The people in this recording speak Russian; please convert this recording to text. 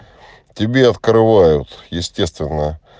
тебе открывают естественно